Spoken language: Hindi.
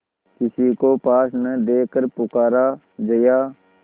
किसी को पास न देखकर पुकारा जया